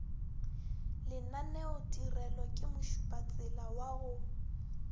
lenaneotirelo ke mošupatsela wa go